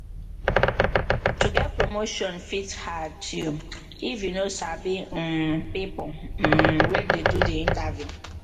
to get promotion fit hard you if you no sabi um people um wey dey do the interview